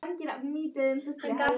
Lilly, syngdu fyrir mig „Reykingar“.